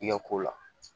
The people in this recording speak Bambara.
I ka ko la